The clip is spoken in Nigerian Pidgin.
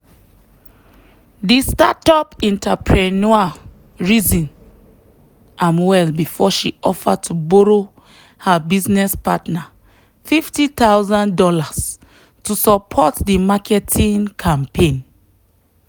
the startup entrepreneur reason am well before she offer to borrow her business partner fifty thousand dollars to support the marketing campaign.